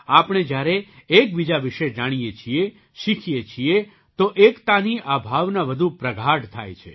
આપણે જ્યારે એકબીજા વિશે જાણીએ છીએ શીખીએ છીએ તો એકતાની આ ભાવના વધુ પ્રગાઢ થાય છે